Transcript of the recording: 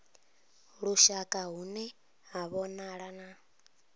lushaka hune ha vhonala na